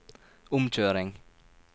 omkjøring